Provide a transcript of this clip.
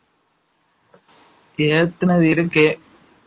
ஏத்துனது இருக்கு.